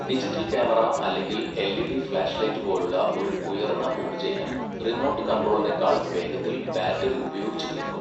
Digital camera അല്ലെങ്കിൽ LED flash light പോലുള്ള ഒരു ഉയർന്ന ഊർജ്ജ ഇനം റിമോട്ട് കൺട്രോളിനേക്കാൾ വേഗത്തിൽ ബാറ്ററി ഉപയോഗിച്ചുതീർക്കും.